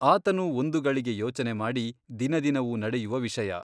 ಆತನೂ ಒಂದು ಗಳಿಗೆ ಯೋಚನೆಮಾಡಿ ದಿನದಿನವೂ ನಡೆಯುವ ವಿಷಯ.